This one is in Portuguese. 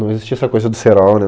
Não existia essa coisa do cerol, né?